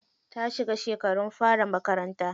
Ta shiga shekarun fara makaranta.